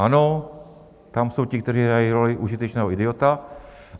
Ano, tam jsou ti, kteří hrají roli užitečného idiota.